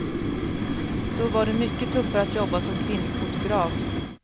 Då var det mycket tuffare att jobba som kvinnlig fotograf.